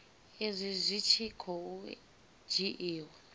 izwi zwi tshi khou dzhiiwa